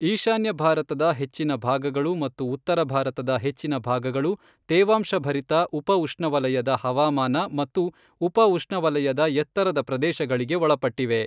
ಈಶಾನ್ಯ ಭಾರತದ ಹೆಚ್ಚಿನ ಭಾಗಗಳು ಮತ್ತು ಉತ್ತರ ಭಾರತದ ಹೆಚ್ಚಿನ ಭಾಗಗಳು ತೇವಾಂಶಭರಿತ ಉಪಉಷ್ಣವಲಯದ ಹವಾಮಾನ ಮತ್ತು ಉಪಉಷ್ಣವಲಯದ ಎತ್ತರದ ಪ್ರದೇಶಗಳಿಗೆ ಒಳಪಟ್ಟಿವೆ.